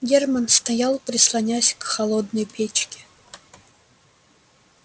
германн стоял прислонясь к холодной печке